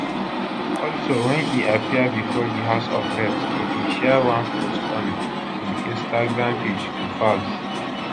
also wen e appear before di house of reps e bin share one post on im instagram page to falz